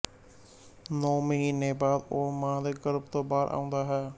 ਨੌ ਮਹੀਨੇ ਬਾਅਦ ਉਹ ਮਾਂ ਦੇ ਗਰਭ ਤੋਂ ਬਾਹਰ ਆਉਂਦਾ ਹੈ